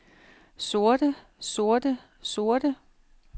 sorte sorte sorte